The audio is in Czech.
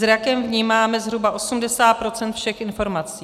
Zrakem vnímáme zhruba 80 % všech informací.